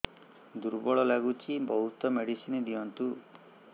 ଦୁର୍ବଳ ଲାଗୁଚି ବହୁତ ମେଡିସିନ ଦିଅନ୍ତୁ